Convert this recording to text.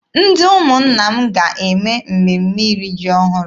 Ndị ụmụnna m ga-eme mmemme iri ji ọhụrụ.